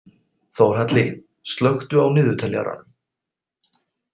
Þórhalli, slökktu á niðurteljaranum.